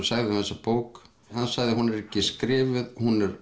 sagði um þessa bók hann sagði hún er ekki skrifuð hún er